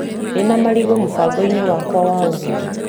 Ndĩna marigũ mũbango-inĩ wakwa wa ũgũri .